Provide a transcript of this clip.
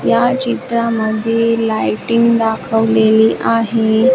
या चित्रामध्ये लाइटिंग दाखवलेली आहे.